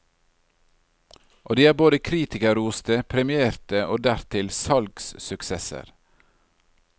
Og de er både kritikerroste, premierte og dertil salgssuksesser.